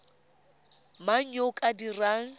mang yo o ka dirang